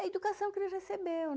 É a educação que ele recebeu